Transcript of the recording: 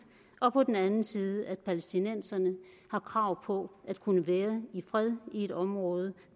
og på den anden side at palæstinenserne har krav på at kunne være i fred i et område